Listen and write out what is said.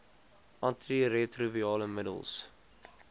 anti retrovirale middels